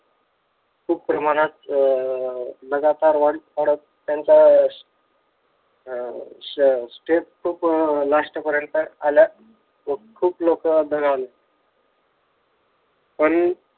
खूप प्रमाणात अह लगातार वाढत वाढत त्यांचा अह step पण last पर्यंत आल्यात आणि खूप लोक दगावले पण